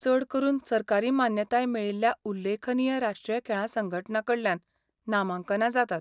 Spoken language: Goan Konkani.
चड करून सरकारी मान्यताय मेळिल्ल्या उल्लेखनीय राष्ट्रीय खेळां संघटनां कडल्यान नामांकनां जातात.